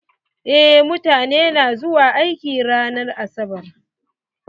Eh mutane na zuwa aiki ran asabar.